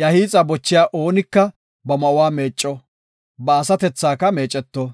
Iya hiixa bochiya oonika ba ma7uwa meecco; ba asatethaka meeceto;